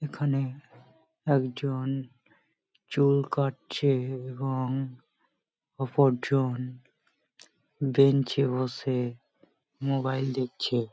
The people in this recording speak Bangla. এখানে একজন চুল কাটছে এবং অপরজন বেঞ্চ -এ বসে মোবাইল দেখছে।